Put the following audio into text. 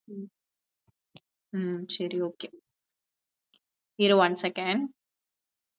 உம் சரி okay இரு one seconds